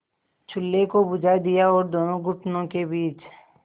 चूल्हे को बुझा दिया और दोनों घुटनों के बीच